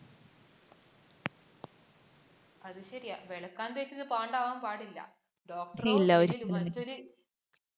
അത് ശരിയാ, വെളുക്കാന്‍ തേച്ചത് പാണ്ടാവാന്‍ പാടില്ല.